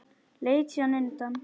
Leit síðan undan.